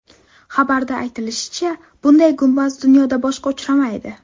Xabarda aytilishicha, bunday gumbaz dunyoda boshqa uchramaydi.